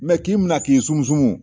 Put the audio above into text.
k'i minɛ k'i sumusumu